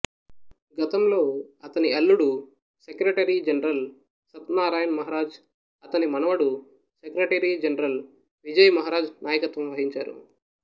గతంలో అతని అల్లుడు సెక్రటరీ జనరల్ సత్నారాయణ్ మహారాజ్ అతని మనవడు సెక్రటరీ జనరల్ విజయ్ మహారాజ్ నాయకత్వం వహించారు